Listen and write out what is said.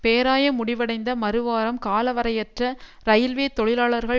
பேராயம் முடிவடைந்த மறுவாரம் காலவரையற்ற ரயில்வே தொழிலாளர்கள்